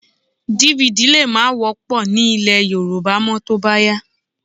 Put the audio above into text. DVD lè má wọ́pọ̀ ní ilẹ̀ Yorùbá mọ́ tó bá yá